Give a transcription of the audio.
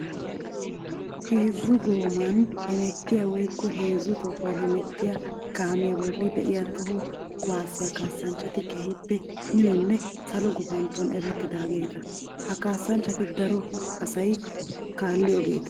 Heezzu goomani hemettiya woykko heezzu tohuwan hemettiya kaamiya bolla de'iya toho kuwasiya kaassanchchatti keehippe minonne salo gufantton erettiyagetta. Ha kaasanchchatti daro asay kaalliyoogetta.